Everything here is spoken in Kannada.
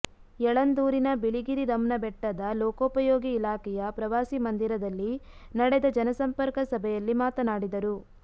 ಯಳಂದೂರಿನ ಬಿಳಿಗಿರಿರಂನಬೆಟ್ಟದ ಲೋಕೋ ಪಯೋಗಿ ಇಲಾಖೆಯ ಪ್ರವಾಸಿ ಮಂದಿರದಲ್ಲಿ ನಡೆದ ಜನಸಂಪರ್ಕ ಸಭೆಯಲ್ಲಿ ಮಾತನಾಡಿದರು